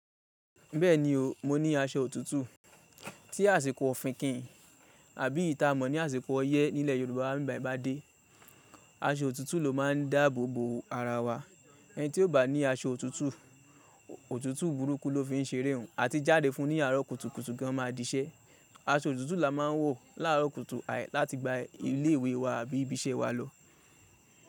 Bẹ́ẹ̀ni o, mo ní aṣọ òtútù. Tí àsìkò òfinkíìn àbí ìta mọ̀ ní àsìkò ọyẹ́ nílẹ̀ Yorùbá ń bi bayi bádé, aṣọ òtútù ló máa ń dáàbò bo ara wa. Ẹni tí ò bá ní aṣọ òtútù, òtútù burúkú ló fi ń ṣeré òun àti jáde fún ní àárọ̀ kùtùkùtù gan máa dīṣẹ́. Aṣọ òtútù la máa ń wọ̀ láàárọ̀ kùtù láti gba ilé ìwé wa àbí ibi iṣẹ́ wa lọ.